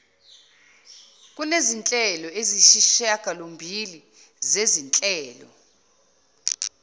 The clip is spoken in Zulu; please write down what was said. kunezinhlelo eziyisishiyagalombili zezinhlelo